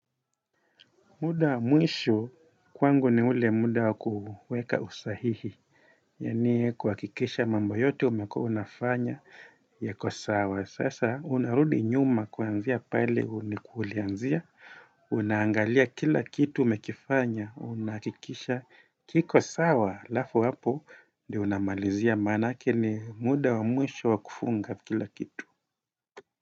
Muda wa mwisho kwangu ni ule muda wa kuweka usahihi. Yani kuhakikisha mambo yote umekua unafanya iko sawa sasa unarudi nyuma kuanzia pale ulianzia. Unaangalia kila kitu umekifanya unahakikisha kiko sawa alafu hapo ndio unamalizia maanake ni muda wa mwisho wa kufunga kila kitu.